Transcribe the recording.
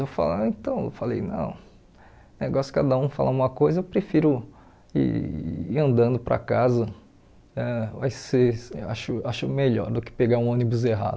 Eu falei, então eu falei não, é um negócio que cada um fala uma coisa, eu prefiro ir ir andando para casa, ãh vai ser acho acho melhor do que pegar um ônibus errado.